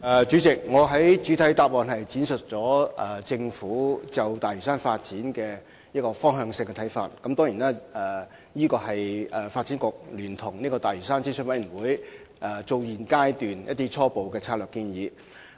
主席，我在主體答覆闡述了政府就大嶼山發展的方向性看法，當然，這也是發展局和大嶼山發展諮詢委員會在現階段的初步策略性建議。